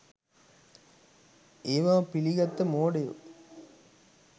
ඒව පිලිගත්ත මෝඩයො